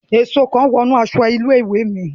Èsó kan wọ inú aṣọ ilé-ìwé mi